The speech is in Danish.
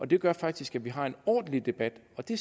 det gør faktisk at vi har en ordentlig debat og det